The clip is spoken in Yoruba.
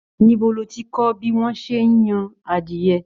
Níbo ló tí kọ bí wọn ṣe n yan adiẹ?